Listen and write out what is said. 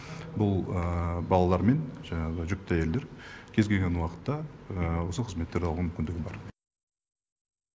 бұл балалар мен жаңағы жүкті әйелдер кез келген уақытта осы қызметтерді алуға мүмкіндігі бар